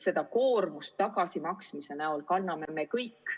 Seda koormat tagasimaksmise näol kanname me kõik.